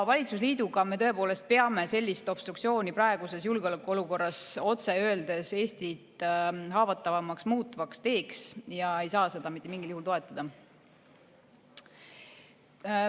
Valitsusliiduga me tõepoolest peame sellist obstruktsiooni praeguses julgeolekuolukorras otse öeldes Eestit haavatavamaks muutvaks teeks ega saa seda mitte mingil juhul toetada.